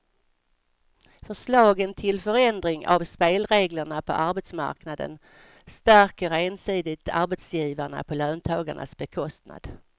Förslagen till förändring av spelreglerna på arbetsmarknaden stärker ensidigt arbetsgivarna på löntagarnas bekostnad.